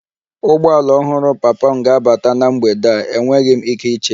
Ụgbọala ọhụrụ papa m ga-abata na mgbede a, enweghị m ike ichere